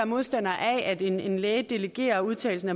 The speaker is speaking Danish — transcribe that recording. modstandere af at en læge delegerer udtagelsen